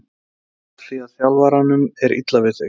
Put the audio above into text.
Er það af því að þjálfaranum er illa við þig?